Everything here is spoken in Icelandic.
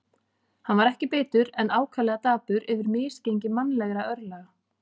Hann var ekki bitur, en ákaflega dapur yfir misgengi mannlegra örlaga.